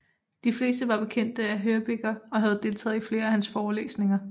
De fleste var bekendte af Hörbiger og havde deltaget i flere af hans forelæsninger